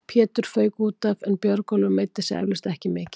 Pétur fauk útaf en Björgólfur meiddi sig eflaust ekki mikið.